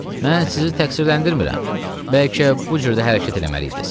"Mən sizi təqsirləndirmirəm, bəlkə bu cür də hərəkət eləməliydiz.